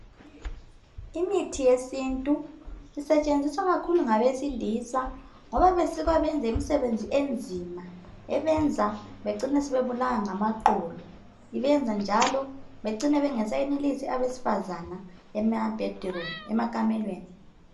Imithi yesintu isetshenziswa kakhulu ngabesilisa ngoba basuka beyenze izisebenzi inzima ebenza begcine sebebulawa ngamaqolo, ibenza njalo begcine bangasayenelisi abesifazana emakamelweni.